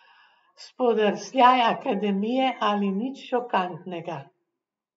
Spodrsljaj Akademije ali nič šokantnega?